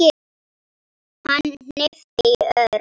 Hann hnippti í Örn.